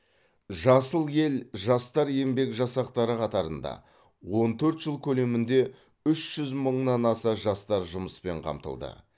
жасыл ел жастар еңбек жасақтары қатарында он төрт жыл көлемінде үш жүз мыңнан аса жастар жұмыспен қамтылды